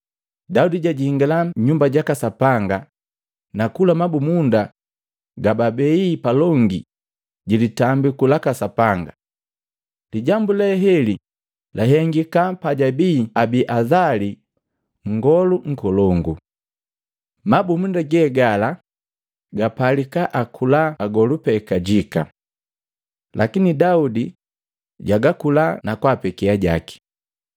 Daudi jajingala nyumba jaka Sapanga, nakula mabumunda gababei palongi jilitambiku laka Sapanga. Lijambu le heli lahengika pajabii Abiazali nngolu nkolongu. Mabumunda ge gala bapalika akula agolu pee kajika. Lakini Daudi jagakula na kwaapeke ajaki.”